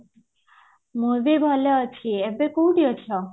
ମୁଁ ବି ଭଲ ଅଛି ଏବେ କୋଉଠି ଅଛ